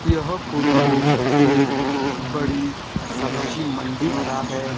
यह फोटो एक बड़ी सब्जीमंडी का है।